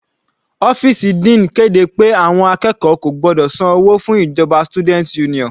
Ọ́fìsì dean kéde pé àwọn akẹ́kọ̀ọ́ kò gbọ́dọ̀ san owó fún ìjọba student union.